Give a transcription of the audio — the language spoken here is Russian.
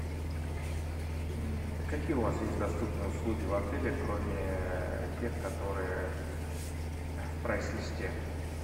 какие у вас есть доступные услуги в отеле кроме тех которые в прайс листе